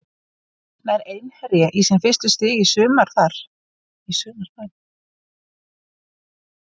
Nær Einherji í sín fyrstu stig í sumar þar?